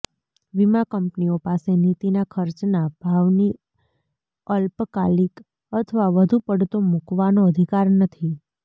વીમા કંપનીઓ પાસે નીતિના ખર્ચના ભાવની અલ્પકાલિક અથવા વધુ પડતો મૂકવાનો અધિકાર નથી